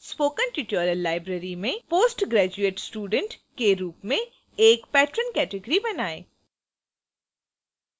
spoken tutorial library में post graduate student के रूप में एक patron category बनाएँ